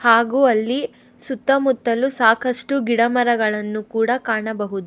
ಹಾಗೂ ಅಲ್ಲಿ ಸುತ್ತಮುತ್ತಲು ಸಾಕಷ್ಟು ಗಿಡಮರಗಳನ್ನು ಕೂಡ ಕಾಣಬಹುದು.